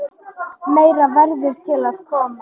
Meira verður til að koma.